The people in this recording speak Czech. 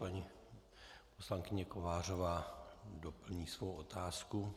Paní poslankyně Kovářová doplní svou otázku.